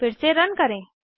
फिर से रन करें